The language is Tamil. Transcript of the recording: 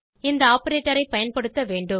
இந்த ஆப்பரேட்டர் ஐ பயன்படுத்த வேண்டும்